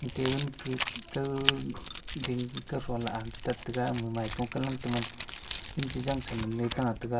tabun ke kau ding kauthon la ama cha tap taga ama maipung kanlang taman zingchizang sa nganle tah taga.